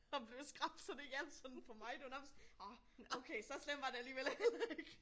At blive skræmt så det hjalp sådan på mig. Det var nærmest åh okay så slemt var det alligevel heller ikke